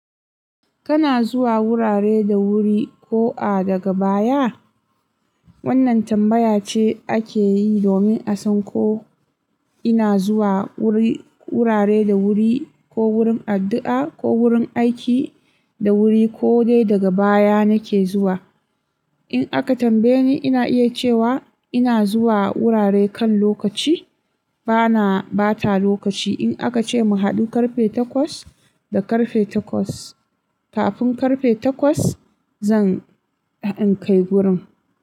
Kana zuwa wurare da wuri ko a daga baya? Wannan tambaya ce ake yi domin a san ko ina zuwa wuri, wurare da wuri ko wurin addu'a ko wurin aiki da wuri ko dai daga baya nake zuwa. In aka tambaye ni ina iya cewa ina zuwa wurare kan lokaci bana ɓata lokaci. In aka ce mu haɗu karfe takwas, da karfe takwas kafin karfe takwas zan in kai wurin.